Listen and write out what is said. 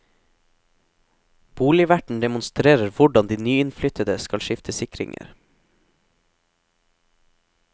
Boligverten demonstrerer hvordan de nyinnflyttede skal skifte sikringer.